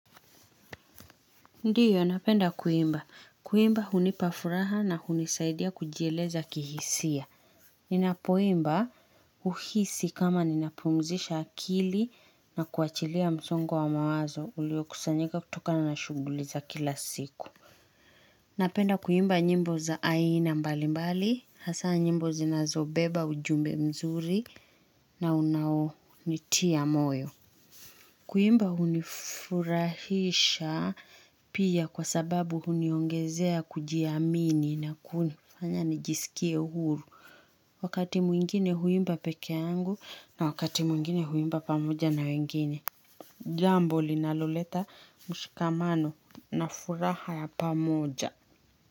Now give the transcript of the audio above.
Ndiyo, napenda kuimba. Kuimba hunipa furaha na hunisaidia kujieleza kihisia. Ninapoimba huhisi kama ninapumzisha akili na kuachilia msongo wa mawazo uliokusanyika kutoka na na shuguli za kila siku. Napenda kuimba nyimbo za aina mbali mbali. Hasa nyimbo zinazobeba ujumbe mzuri na unaonitia moyo. Kuimba hunifurahisha pia kwa sababu huniongezea kujiamini na kunifanya nijisikie uhuru. Wakati mwingine huimba peke yangu na wakati mwingine huimba pamoja na wengine. Jambo linaloleta mshikamano na furaha pamoja.